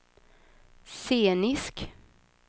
scenisk